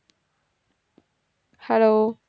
hello